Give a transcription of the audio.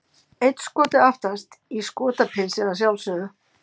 Einn Skoti aftast, í Skotapilsi að sjálfsögðu!